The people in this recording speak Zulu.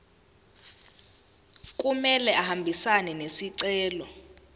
kumele ahambisane nesicelo